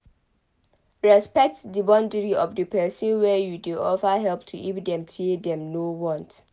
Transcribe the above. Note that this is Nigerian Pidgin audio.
Respect di boundary of di person wey you dey offer help to if dem say dem no want